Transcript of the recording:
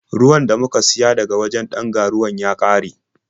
Ruwan da muka siya daga wajen ɗan ga-ruwan ya ƙare.